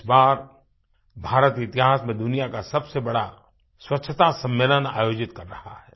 इस बार भारत इतिहास में दुनिया का सबसे बड़ा स्वच्छता सम्मेलन आयोजित कर रहा है